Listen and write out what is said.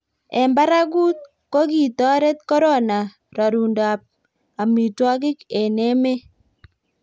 eng' barakut, ko kitoret korona rorundo tab amitwogik eng' emet.